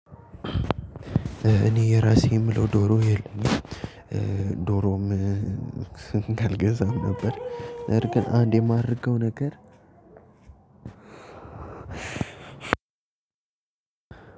እኔ የራሴ የምለው ዶሮ የለኝም። ዶሮም አልገዛም ነበር ነገር ግን አንድ የማደርገው ነገር